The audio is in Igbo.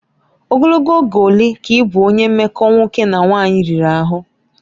Ogologo oge ole ka ị bụ onye mmekọ nwoke na nwanyị riri ahụ?